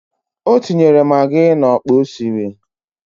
O tinyere magị n'ọkpa o siri